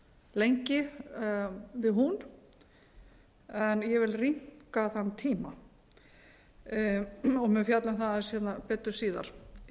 lengi við hún en ég vil rýmka þann tíma og mun fjalla um það aðeins betur síðar